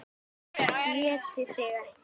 ÉTI ÞIG EKKI!